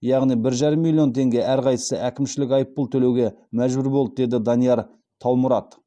яғни бір жарым миллион теңге әрқайсысы әкімшілік айыпұл төлеуге мәжбүр болды деді данияр таумұрат